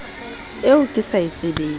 eo ke sa e tsebeng